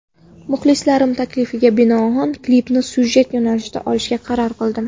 Muxlislarim taklifiga binoan klipni syujet yo‘nalishida olishga qaror qildim.